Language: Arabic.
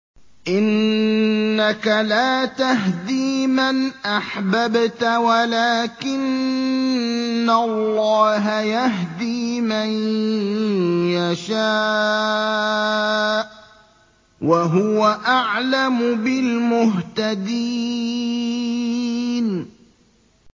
إِنَّكَ لَا تَهْدِي مَنْ أَحْبَبْتَ وَلَٰكِنَّ اللَّهَ يَهْدِي مَن يَشَاءُ ۚ وَهُوَ أَعْلَمُ بِالْمُهْتَدِينَ